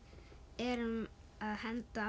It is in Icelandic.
erum að henda